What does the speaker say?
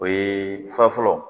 O ye fɔlɔ fɔlɔ